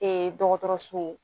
dɔgɔtɔrɔso